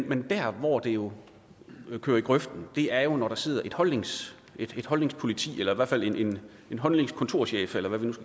men der hvor det jo kører i grøften er når der sidder et holdningspoliti holdningspoliti eller i hvert fald en holdningskontorchef eller hvad man